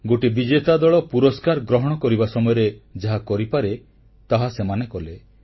ଗୋଟିଏ ବିଜେତା ଦଳ ପୁରସ୍କାର ଗ୍ରହଣ କରିବା ସମୟରେ ଯାହା କରିପାରେ ତାହା ସେମାନେ କଲେ